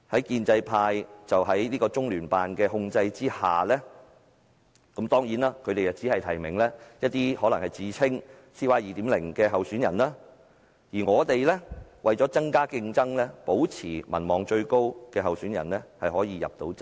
建制派在中聯辦的控制下，當然只能夠提名一些自稱 "CY 2.0" 的候選人，而我們為了增加競爭，便要保障民望最高的候選人可以入閘。